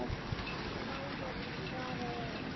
Bróðir, svaraði Eiki.